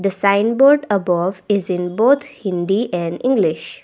a sign board above is in both hindi and english.